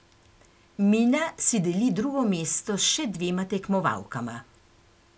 Mina si deli drugo mesto s še dvema tekmovalkama.